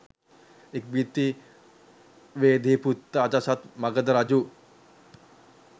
ඉක්බිති වේදේහීපුත්‍ර අජාසත් මගධ රජු